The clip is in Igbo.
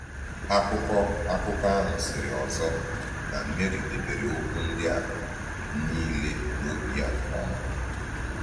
Akụkọ Akụkọ ahụ sịrị ọzọ na Meri “debere okwu ndị a niile n’obi ya nke ọma.”